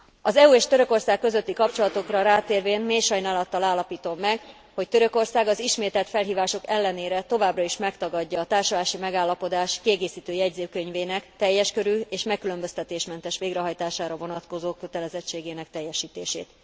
Az EU és Törökország közötti kapcsolatokra rátérvén mély sajnálattal állapítom meg, hogy Törökország az ismételt felhívások ellenére továbbra is megtagadja a társulási megállapodás kiegészítő jegyzőkönyvének teljes körű és megkülönböztetésmentes végrehajtására vonatkozó kötelezettségének teljesítését.